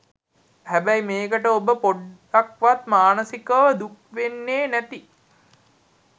හැබැයි මේකට ඔබ පොඞ්ඩක්වත් මානසිකව දුක්වෙන්නෙ නැති